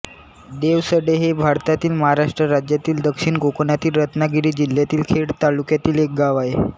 देवसडे हे भारतातील महाराष्ट्र राज्यातील दक्षिण कोकणातील रत्नागिरी जिल्ह्यातील खेड तालुक्यातील एक गाव आहे